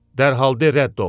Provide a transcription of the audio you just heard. Dərhal de rədd ol!